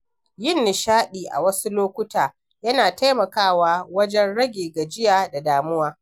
Yin nishaɗi a wasu lokuta yana taimakawa wajen rage gajiya da damuwa.